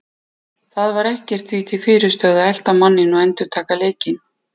Það var ekkert því til fyrirstöðu að elta manninn og endurtaka leikinn.